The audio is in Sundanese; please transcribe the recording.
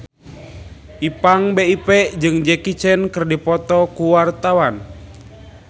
Ipank BIP jeung Jackie Chan keur dipoto ku wartawan